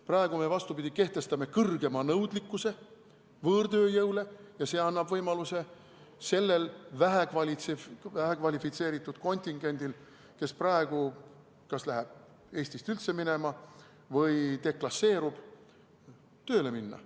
Praegu me, vastupidi, kehtestame kõrgema nõudlikkuse võõrtööjõule ja see annab võimaluse sellele vähekvalifitseeritud kontingendile, kes praegu kas läheb Eestist üldse minema või deklasseerub, tööle minna.